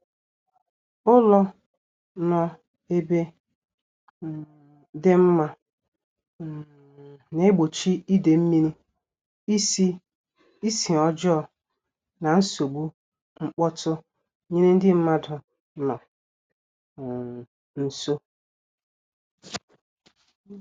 Ụlọ nọ ebe um dị mma um na-egbochi ide mmiri, isi ọjọọ, na nsogbu mkpọtụ nyere ndị mmadụ nọ um nso